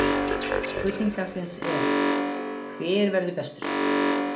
Spurning dagsins er: Hver verður bestur?